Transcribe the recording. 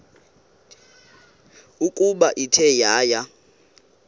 ukuba ithe yaya